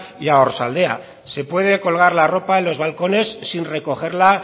y a oarsoaldea se puede colgar la ropa en los balcones sin recogerla